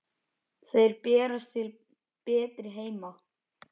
Þeir berast til betri heima.